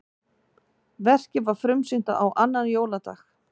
Verkið var frumsýnt á annan jóladag